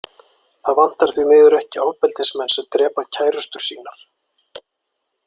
Það vantar því miður ekki ofbeldismenn sem drepa kærustur sínar.